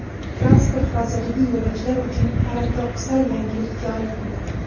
Transport vazirligi yo‘lovchilar uchun paradoksal yangilik joriy qildi.